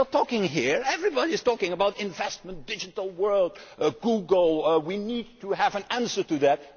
We are talking here everybody is talking about investment, the digital world, Google we need to have an answer to that.